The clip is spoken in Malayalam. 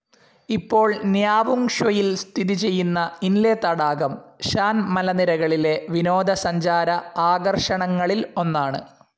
ഇപ്പോൾ ന്യാവുങ് ഷ്വെയിൽ സ്ഥിതിചെയ്യുന്ന ഇന്ലെ തടാകം ഷാൻ മലനിരകളിലെ വിനോദ സഞ്ചാര ആകർഷണങ്ങളിൽ ഒന്നാണ്.